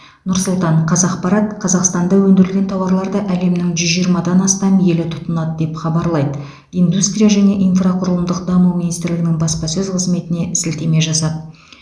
нұр сұлтан қазақпарат қазақстанда өндірілген тауарларды әлемнің жүз жиырмадан астам елі тұтынады деп хабарлайды қазақпарат индустрия және инфрақұрылымдық даму министрлігінің баспасөз қызметіне сілтеме жасап